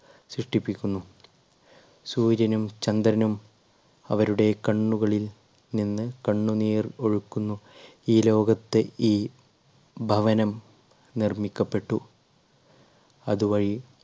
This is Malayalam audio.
സൃഷ്ടിപ്പിക്കുന്നു. സൂര്യനും ചന്ദ്രനും അവരുടെ കണ്ണുകളിൽ നിന്ന് കണ്ണുനീർ ഒഴുക്കുന്നു ഈ ലോകത്ത് ഈ ഭവനം നിർമ്മിക്കപ്പെട്ടു. അതുവഴി